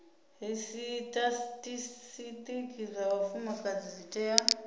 zwisitatisitiki zwa vhafumakadzi zwi tea